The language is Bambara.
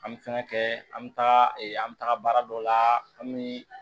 An bɛ fɛn kɛ an bɛ taga an bɛ taga baara dɔ la an bɛ